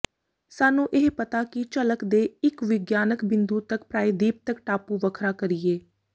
ਸਾਨੂੰ ਇਹ ਪਤਾ ਕੀ ਝਲਕ ਦੇ ਇੱਕ ਵਿਗਿਆਨਕ ਬਿੰਦੂ ਤੱਕ ਪ੍ਰਾਇਦੀਪ ਤੱਕ ਟਾਪੂ ਵੱਖਰਾ ਕਰੀਏ